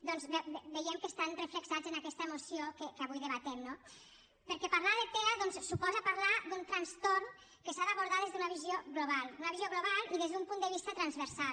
doncs veiem que estan reflectits en aquesta moció que avui debatem no perquè parlar de tea doncs suposa parlar d’un trastorn que s’ha d’abordar des d’una visió global una visió global i des d’un punt de vista transversal